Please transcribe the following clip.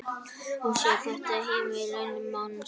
Og sjá þetta heimili manns.